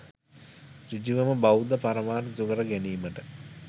සෘජුවම බෞද්ධ පරමාර්ථ ඉටු කර ගැනීමට